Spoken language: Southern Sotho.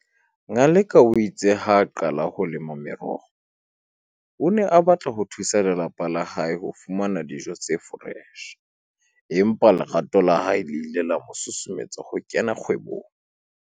Ngaleka o itse ha a qala ho lema meroho, o ne a batla ho thusa lelapa la hae ho fumana dijo tse foreshe empa lerato la hae le ile la mosusumeletsa ho kena kgwebong.